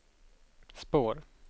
spår